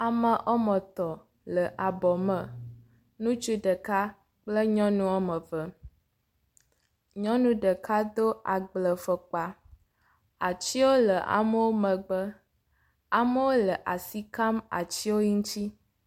Ame wome etɔ̃ le abɔ me, ŋutsu ɖeka kple nyɔnu wome eve. Nyɔnu ɖeka do agblefɔkpa, atiwo le amewo megbe. Amewo le asi kam atiwo ŋuti.